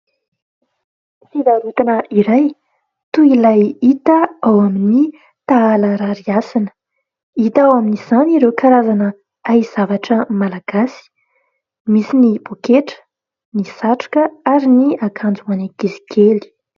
Fivarotana iray toy ilay hita ao amin'ny Tahala Rarihasina. Hita ao amin'izany ireo karazana haizavatra malagasy. Misy ny poketra, ny satroka ary ny akanjo hoan'ny ankizy kely.